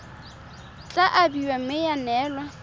tla abiwa mme ya neelwa